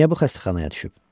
Niyə bu xəstəxanaya düşüb?